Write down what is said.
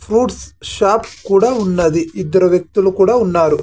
Fruits shop కూడా ఉన్నది ఇద్దరు వ్యక్తులు కూడా ఉన్నారు.